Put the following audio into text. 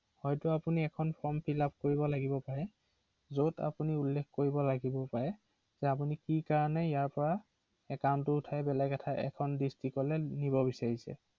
হয়